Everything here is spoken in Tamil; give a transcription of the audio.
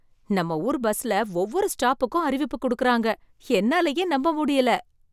நம்ம ஊர் பஸ்ல ஒவ்வொரு ஸ்டாப்புக்கும் அறிவிப்பு குடுக்குறாங்க, என்னாலயே நம்ப முடியல!